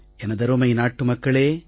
எனதருமை நாட்டு மக்களே